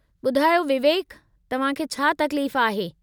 ॿुधायो विवेक, तव्हां खे छा तकलीफ़ आहे?